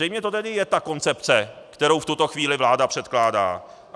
Zřejmě to tedy je ta koncepce, kterou v tuto chvíli vláda předkládá.